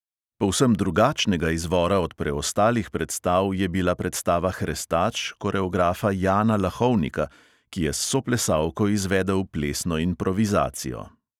Povsem drugačnega izvora od preostalih predstav je bila predstava hrestač koreografa jana lahovnika, ki je s soplesalko izvedel plesno improvizacijo.